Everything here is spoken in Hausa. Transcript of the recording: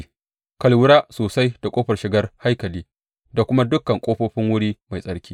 Ka lura sosai da ƙofar shigar haikali da kuma dukan ƙofofin wuri mai tsarki.